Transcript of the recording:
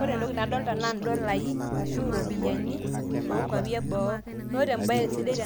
ore entoki naadolta naa idolai ashu iropiyiani ok nkuapi eboo, ore ebaye sidai